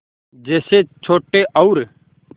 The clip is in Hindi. जैसे छोटे और